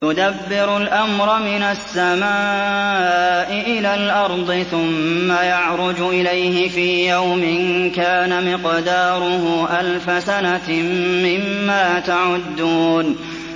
يُدَبِّرُ الْأَمْرَ مِنَ السَّمَاءِ إِلَى الْأَرْضِ ثُمَّ يَعْرُجُ إِلَيْهِ فِي يَوْمٍ كَانَ مِقْدَارُهُ أَلْفَ سَنَةٍ مِّمَّا تَعُدُّونَ